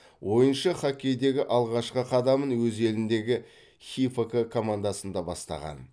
ойыншы хоккейдегі алғашқы қадамын өз еліндегі хифк командасында бастаған